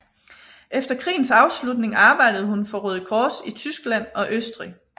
Efter krigens afslutning arbejdede hun for Røde Kors i Tyskland og Østrig